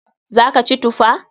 Za ka ci tufa?